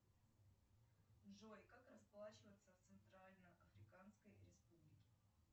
джой как расплачиваться в центрально африканской республике